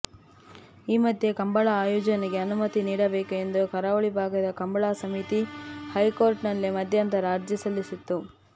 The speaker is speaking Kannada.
ಈ ಮಧ್ಯೆ ಕಂಬಳ ಆಯೋಜನೆಗೆ ಅನುಮತಿ ನೀಡಬೇಕು ಎಂದು ಕರಾವಳಿ ಭಾಗದ ಕಂಬಳ ಸಮಿತಿ ಹೈಕೋರ್ಟ್ಗೆ ಮಧ್ಯಂತರ ಅರ್ಜಿ ಸಲ್ಲಿಸಿತ್ತು